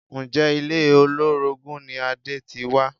Ǹjẹ́ ilé olórogún ni Adé ti wá?